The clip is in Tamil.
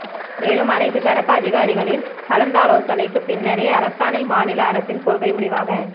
மேலும் அனைத்து தரப்பு அதிகாரிகளின் கலந்தாலோசனைக்கு பின்னரே அரசாணை மாநில அரசின் கொள்கை முடிவாக